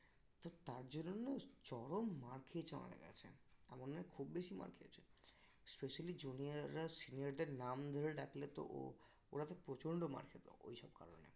তো তার জন্য না চরম মার খেয়েছেও আমাদের কাছে এমন নয় খুব বেশি মার খেয়েছে specially junior রা senior দের নাম ধরে ডাকলে তো ও ওরা তো প্রচন্ড মার খেত ওইসব কারণে